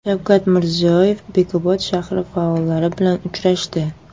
Shavkat Mirziyoyev Bekobod shahri faollari bilan uchrashdi.